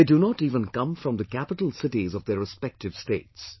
They do not even come from the capital cities of their respective states